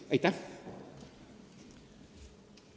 Aitäh!